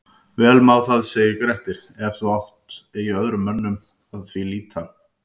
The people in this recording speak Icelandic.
Vel má það segir Grettir, ef þú mátt eigi öðrum mönnum að því hlíta